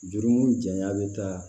Juruko janya bɛ taa